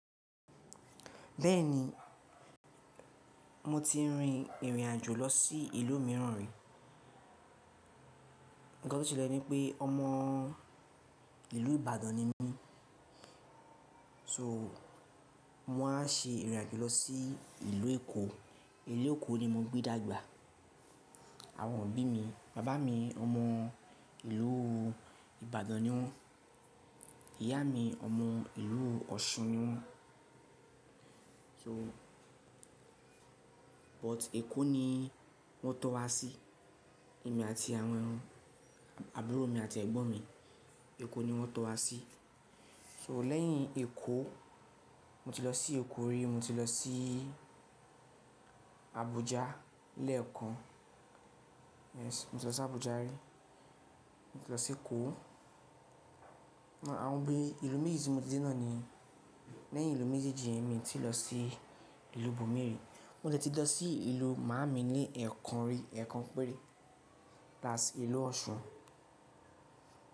Bẹ́ẹ̀ni, mo ti rin ìrìn-àjò lọ sí ìlú mìíràn rí. Ǹkan to selè ní pé ọmọ ìlú Ìbàdàn ni mí, so mó máa ṣe ìrìn-àjò lọ sí ìlú Èkó. Ìlú Èkó ni mo gbé dàgbà. Àwọn òbí mi, bàbá mi ọmọ ìlú Ìbàdàn ni wón, ìyá mi ọmọ ìlú Ọ̀ṣun ni wón. So but Èkó ni wọ́n tọ wa sí, èmi àti àwọn, àbúrò mi àti ẹ̀gbọ́n mi, Èkó ni wọ́n tọ wa sí. So lẹ́yìn Èkó, mo ti lọ sí Èkó rí, mo ti lọ sí Abuja lẹ́ẹ̀kan. Yes, mo ti lọ sí Abuja rí, mo ti lọ sí ekó. Àwọn bí, ìlú méjì tí mo ti dé náà ni. Lẹ́yìn ìlú méjeeji yen èmi ti lọ sí ìlú bù mí rí. Mo ti dé tí lọ sí ìlú màámi ní ẹ̀kan rí, ẹ̀kan péré, thats ìlú Ọ̀ṣun.